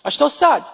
A što sad?